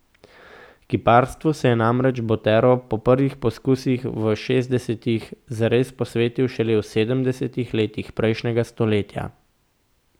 Kiparstvu se je namreč Botero po prvih poskusih v šestdesetih zares posvetil šele v sedemdesetih letih prejšnjega stoletja.